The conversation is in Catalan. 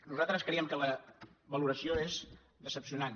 nosaltres creiem que la valoració és decebedora